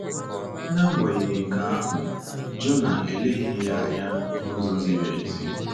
N’agbanyeghị nke ahụ, Jonah eleghị ya anya n’ụzọ ziri ezi.